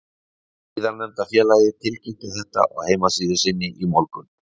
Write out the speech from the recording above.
Síðarnefnda félagið tilkynnti þetta á heimasíðu sinni í morgun.